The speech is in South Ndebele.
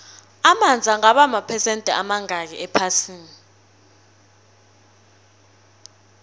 amanzi angaba maphesende amangakhi ephasini